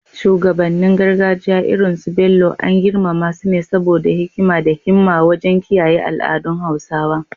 Shugabannin gargajiya irin su Bello, an girmama su ne saboda hikima da himma wajen kiyaye al’adun Hausawa.